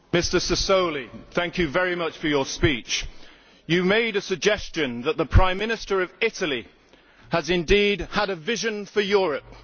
Mr Sassoli, thank you very much for your speech. You made a suggestion that the Prime Minister of Italy has indeed had a vision for Europe.